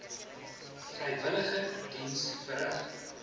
vrywillige diens verrig